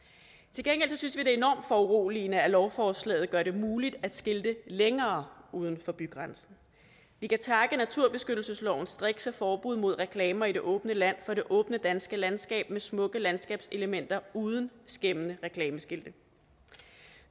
til gengæld synes vi det er enormt foruroligende at lovforslaget gør det muligt at skilte længere uden for bygrænsen vi kan takke naturbeskyttelseslovens strikse forbud mod reklamer i det åbne land for det åbne danske landskab med smukke landskabselementer uden skæmmende reklameskilte